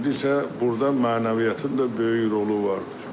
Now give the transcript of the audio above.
burda mənəviyyatın da böyük rolu vardır.